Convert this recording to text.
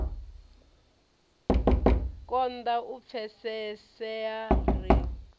ya konda u pfesesea ri